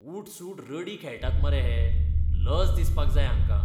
ऊठसूठ रडी खेळटात मरे हे, लज दिसपाक जाय हांकां.